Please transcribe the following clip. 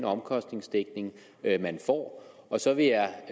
omkostningsdækning man får og så vil jeg